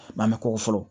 Mɛ an bɛ ko fɔlɔ